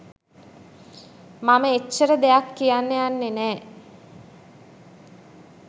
මම එච්චර දෙයක් කියන්න යන්නේ නෑ.